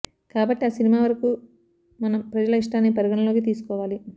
కాబట్టి ఆ సినిమా వరకు మనం ప్రజల ఇష్టాన్ని పరిగణలోకి తీసుకోవాలి